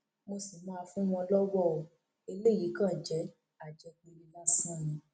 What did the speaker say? mo sì máa fún wọn lọwọ o eléyìí kan kan jẹ àjẹpẹlẹ lásán ni